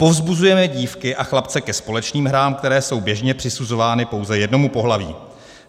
Povzbuzujeme dívky a chlapce ke společným hrám, které jsou běžně přisuzovány pouze jednomu pohlaví.